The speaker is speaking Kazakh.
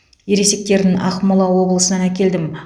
ересектерін ақмола облысынан әкелдім